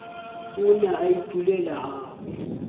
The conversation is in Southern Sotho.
o ne a itulela hahabo